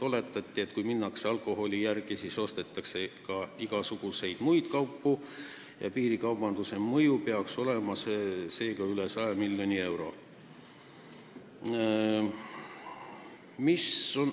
Oletati, et kui sõidetakse alkoholi järele, siis ostetakse ka igasuguseid muid kaupu ja piirikaubanduse mõju peaks olema üle 100 miljoni euro.